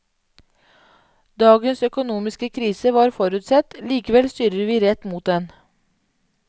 Dagens økonomiske krise var forutsett, likevel styrer vi rett mot den.